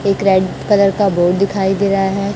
एक red colour का board दिखाई दे रहा है।